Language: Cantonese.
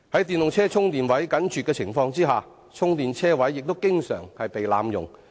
電動車充電設施緊絀，充電車位亦經常被濫用。